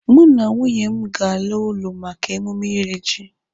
Mụ na nwunye m ga-ala ụlọ maka emume iri ji.